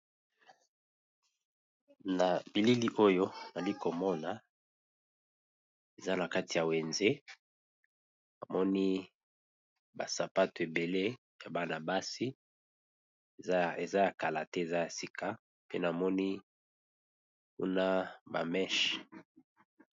Na bilili oyo nali komona eza na kati ya wenze, namoni ba sapato ebele ya bana basi eza ya kala te eza ya sika pe namoni kuna ba meche.